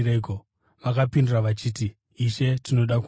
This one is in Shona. Vakapindura vachiti, “Ishe, tinoda kuona.”